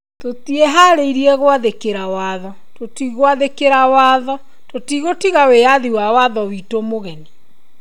tũtieharĩirie gwathĩkĩra watho, tũtigwathĩkĩra watho ,tũtigũtiga wĩathi wa watho witũ mũgeni.